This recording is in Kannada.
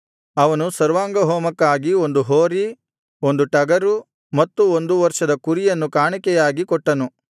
ಅವನು ಸರ್ವಾಂಗಹೋಮಕ್ಕಾಗಿ ಒಂದು ಹೋರಿ ಒಂದು ಟಗರು ಮತ್ತು ಒಂದು ವರ್ಷದ ಕುರಿಯನ್ನು ಕಾಣಿಕೆಯಾಗಿ ಕೊಟ್ಟನು